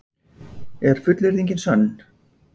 Er fullyrðingin sönn?